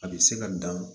A bɛ se ka dan